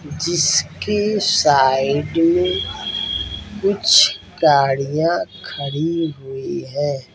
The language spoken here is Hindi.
जिसकी साइड में कुछ गड़िया खड़ी हुई है।